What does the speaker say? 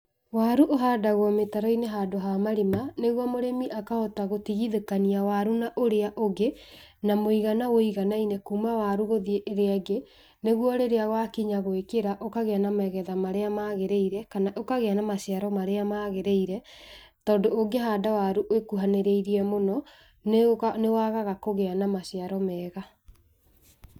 Waru ũhandagwo mĩtaro-ini handũ ha marima, niguo mũrĩmi akahota gũtigithũkania waru na ũrĩa ũngĩ , na mũigana wũiganaine kuma waru gũthie ĩrĩa ĩngi, nĩguo rĩrĩa wakinya gũĩkĩra ũkagĩa na magetha marĩa magĩrĩire, kana ũkagĩa na maciaro marĩa magĩrĩire, tondu ũngĩhanda waru ĩkuhanĩrĩirie mũno, niwagaga kũgĩa na maciaro mega.